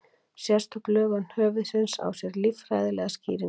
Sérstök lögun höfuðsins á sér líffræðilega skýringu.